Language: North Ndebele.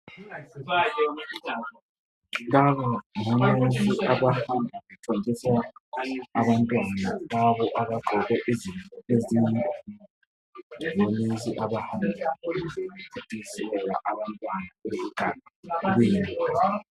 abezempilakahle bahamba bethontisela abantwan, abancane, abangaba leminya ephansi kwemihlanu onensi labezempilakahle bayabe bememezela emphakathini